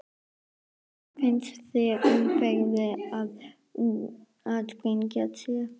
Heimir: Finnst þér umferðin vera að sprengja sig?